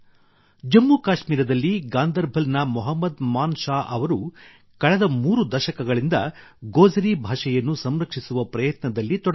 ಜಮ್ಮು ಕಾಶ್ಮೀರದಲ್ಲಿ ಗಾಂದರ್ಬಲ್ ನ ಮೊಹಮ್ಮದ್ ಮಾನ್ ಶಾಹ್ ಅವರು ಕಳೆದ ಮೂರು ದಶಕಗಳಿಂದ ಗೋಜರೀ ಭಾಷೆಯನ್ನು ಸಂರಕ್ಷಿಸುವ ಪ್ರಯತ್ನದಲ್ಲಿ ತೊಡಗಿದ್ದಾರೆ